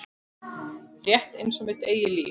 Rétt einsog mitt eigið líf.